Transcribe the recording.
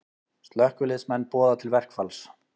Slökkviliðsmenn boða til verkfalls